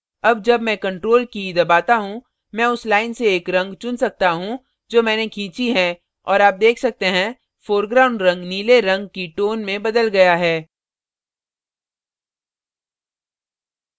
अब जब मैं ctrl की key दबाता हूँ मैं उस line से एक रंग चुन सकता हूँ जो मैंने खींची है और आप देख सकते हैं foreground रंग नीले रंग की tone में बदल गया है